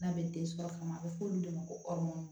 N'a bɛ den sɔrɔ kama a bɛ f'olu de ma ko ɔri